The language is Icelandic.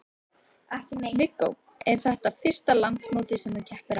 Viggó: Er þetta fyrsta landsmótið sem að þú keppir á?